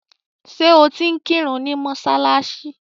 Ṣẹ́ o ti ń kírun ni mọ́ṣáláṣí?